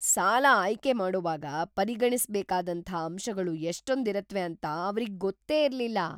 ಸಾಲ ಆಯ್ಕೆ ಮಾಡೋವಾಗ ಪರಿಗಣಿಸ್ಬೇಕಾದಂಥ ಅಂಶಗಳು ಎಷ್ಟೊಂದಿರತ್ವೆ ಅಂತ ಅವ್ರಿಗ್ ಗೊತ್ತೇ ಇರ್ಲಿಲ್ಲ!